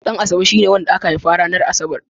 Ɗanasabe shine wanda aka haifa ranar Asabar.